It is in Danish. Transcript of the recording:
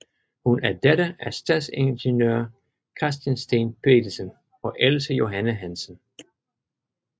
Hun er datter af stadsingeniør Christian Steen Petersen og Else Johanne Hansen